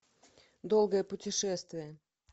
долгое путешествие